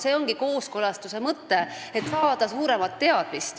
See ongi kooskõlastamise mõte – saada rohkem teadmisi.